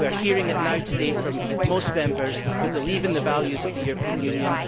We are hearing it now today from most Members, who believe in the values of the European Union.